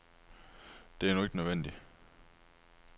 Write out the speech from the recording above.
Det er nu ikke nødvendigt.